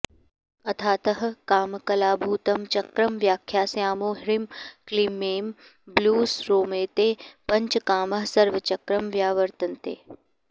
अथातः कामकलाभूतं चक्रं व्याख्यास्यामो ह्रीं क्लीमैं ब्लूॅं स्रौमेते पञ्च कामाः सर्वचक्रं व्यावर्तन्ते